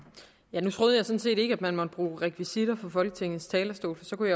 nu troede jeg sådan set ikke at man måtte bruge rekvisitter på folketingets talerstol for så kunne